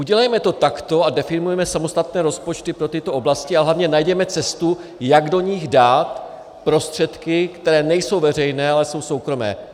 Udělejme to takto a definujme samostatné rozpočty pro tyto oblasti a hlavně najděme cestu, jak do nich dát prostředky, které nejsou veřejné, ale jsou soukromé.